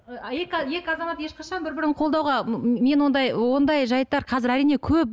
ііі екі екі азамат ешқашан бір бірін қолдауға мен ондай ондай жайттар қазір әрине көп